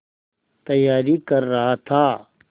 तैयारी कर रहा था